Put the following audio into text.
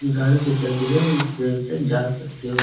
घर से चलते हुए उस घर से जा सकते हो।